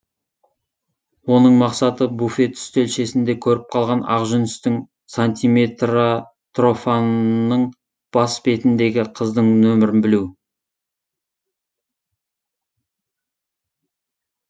оның мақсаты буфет үстелшесінде көріп қалған ақжүністің сантиметратрфонының бас бетіндегі қыздың нөмірін білу